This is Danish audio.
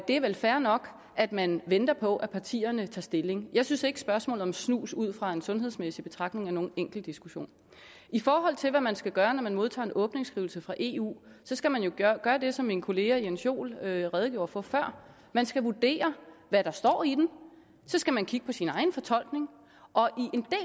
er vel fair nok at man venter på at partierne tager stilling jeg synes ikke at spørgsmålet om snus ud fra en sundhedsmæssig betragtning er nogen enkel diskussion i forhold til hvad man skal gøre når man modtager en åbningsskrivelse fra eu skal man jo gøre det som min kollega herre jens joel redegjorde for før man skal vurdere hvad der står i den og så skal man kigge på sin egen fortolkning og